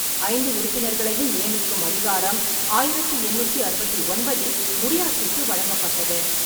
ஐந்து உறுப்பினர்களையும் நியமிக்கும் அதிகாரம் ஆயிரத்தி எண்ணூற்றி அறுபத்தி ஒன்பதில் முடியாட்சிக்கு வழங்கப்பட்டது.